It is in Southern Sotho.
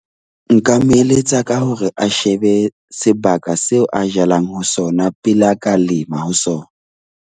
Nka mo eletsa ka hore a shebe sebaka seo a jalang ho sona pele a ka lema ho sona.